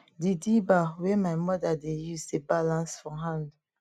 di dibber wey my mother dey use dey balance for hand